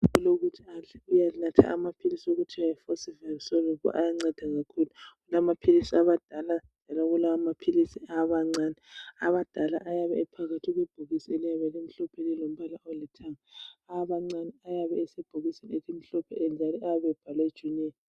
Kulokuthi adle, uyanatha amaphilisi okuthiwa Forceval soluble, ayanceda kakhulu. Kulamaphilisi awabadala, njalo kulamaphilisi awabancane. Awabadala ayabe ephakathi kwebhokisi eliyabe limhlophe lilombala olithanga. Awabancane ayabe esebhokisini elimhlophe, njalo ayabe ebhalwe junior.